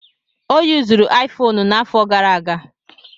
Ọ yuzuru Aifoonu n'afọ gara aga.